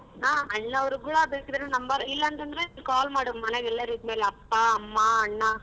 ಹಾ ಅಣ್ಣವರಗೂ ಬೇಕಿದ್ರೆ number ಇಲ್ಲಾಂತಂದ್ರೆ call ಮಾಡು ಮನೇಲಿ ಎಲ್ಲರಿದ್ ಮೇಲೆ ಅಪ್ಪ, ಅಮ್ಮ, ಅಣ್ಣ.